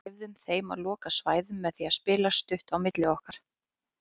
Við leyfðum þeim að loka svæðum með því að spila stutt á milli okkar.